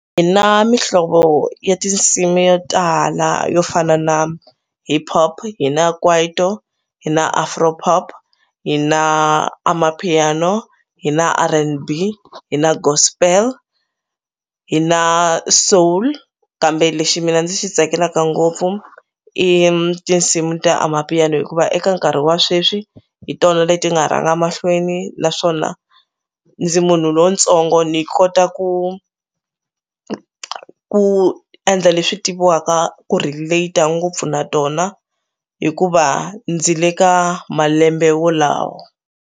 Hi na mihlovo ya tinsimu yo tala yo fana na hip-hop, hi na kwaito, hi na Afropop, hi na amapiano, hi na R_N_B, hi na gospel, hi na soul kambe lexi mina ndzi xi tsakelaka ngopfu i tinsimu ta amapiano hikuva eka nkarhi wa sweswi hi tona leti nga rhanga mahlweni naswona ndzi munhu lontsongo ni kota ku ku endla leswi tiviwaka ku relate-a ngopfu na tona hikuva ndzi le ka malembe wolawo.